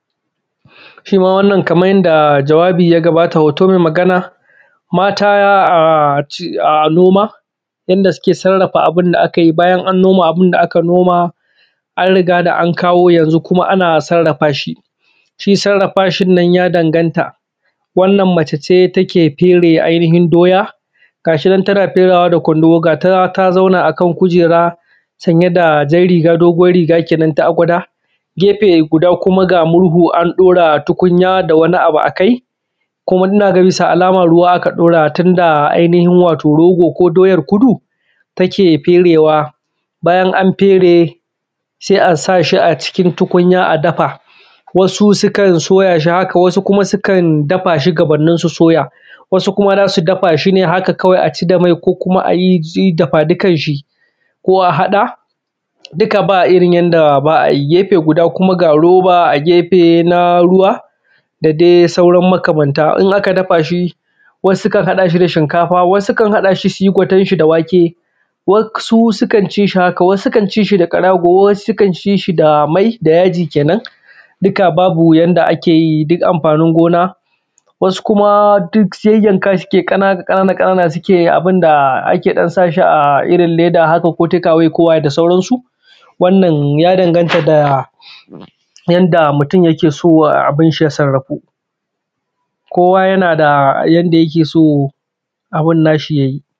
Shima wannan kaman yanda jawabi ya gabata hoto mai Magana. Mata a noma yanda suke sarrafa abunda akayi bayan an noma abunda aka noma, an rigada an kawo yanzu kuma ana sarrafashi. Shi sarrafashi nan ya danganta wannan mace ce take fere ai nihin doya gashi nan tana ferewa da kundumo gata ta zauna akan kujera sanye da jan riga doguwan riga kenan ta agwada. Gefe guda kuma ga murhu an ɗaura tukunya da wabi abu a kai inna ga bisa alama ruwa ka ɗora tunda naga rogo ko doyar kudu take ferewa. Bayan an fere sai a sashi a cikin tukunya a dafa wasu sukan soyashi haka wasu kuma dafashi gabannin su soya. Wasu kuma zasu dafashi haka kawai aci da mai ko kuma ayi dafa dukanshi ko a haɗa duka ba irrin yanda ba’ayi. Gefe guda kuma ga roba a gefe na ruwa da dai sauran makamanta. In aka dafashi wasu sukan haɗashi da shinkafa, wasu uskan haɗashi suyi gwatenshi da wake, wasu sukan cishi haka, wasu sukan cishi da ƙarago, wasu sukan cishi da mai da yaji kenan. Duka ba yanda ba’ayi duk amfanin gona, wasu kuma duk yayyakashi sukeyi ƙanana ƙanana sukeyi abunda ake ɗan sashi a leda haka ko takawayko waye da sauran su. Wannan ya danganta da yanda mutun yakeso abunnashi ya sarrafu kowa da yanda yakeso abunshi ya sarrafu.